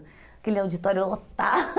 Aquele auditório lota